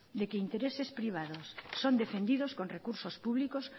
de que intereses privados son defendidos con recursos públicos